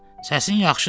Səsin yaxşıdır.